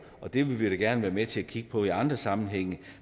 og det vil vi da gerne være med til at kigge på i andre sammenhænge